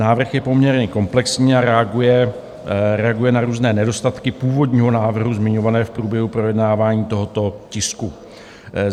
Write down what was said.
Návrh je poměrně komplexní a reaguje na různé nedostatky původního návrhu zmiňované v průběhu projednávání tohoto tisku.